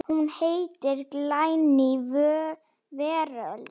Hún heitir Glæný veröld.